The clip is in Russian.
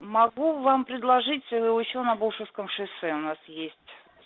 могу вам предложить ещё на болшевском шоссе ещё у нас есть